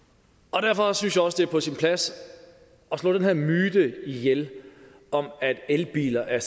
derfor synes jeg også at det er på sin plads at slå den her myte ihjel om at elbiler er